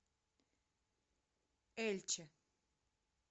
эльче